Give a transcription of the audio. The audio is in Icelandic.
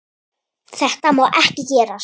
Þetta má ekki gerast.